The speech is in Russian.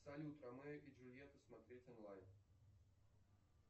салют ромео и джульета смотреть онлайн